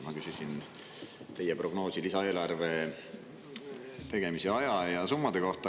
Ma küsisin teie prognoosi lisaeelarve tegemise aja ja summade kohta.